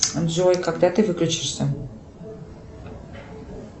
джой когда ты выключишься